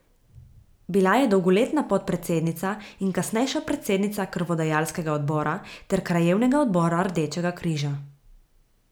Bila je dolgoletna podpredsednica in kasnejša predsednica krvodajalskega odbora ter krajevnega odbora Rdečega križa.